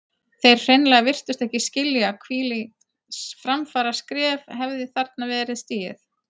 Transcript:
Þeir hreinlega virtust ekki skilja hvílíkt framfaraskref hefði þarna verið stigið.